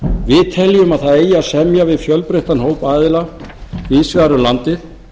við teljum að það eigi að semja við fjölbreyttan hóp aðila víðs vegar um landið